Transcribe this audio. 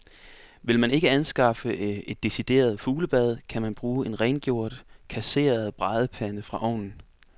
Vil man ikke anskaffe et decideret fuglebad, kan man bruge en rengjort, kasseret bradepande fra ovnen.